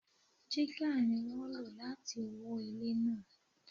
Jígà ni wón lò láti wó ilẹ̀ náà.